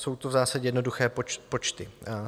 Jsou to v zásadě jednoduché počty.